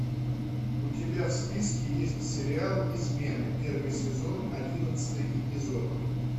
у тебя в списке есть сериал измены первый сезон одиннадцатый эпизод